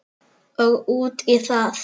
Og út í þig.